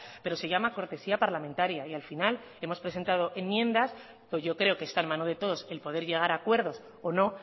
pero se llama cortesía parlamentaria al final hemos presentado enmiendas que yo creo que están en manos de todos el poder llegar a acuerdos o no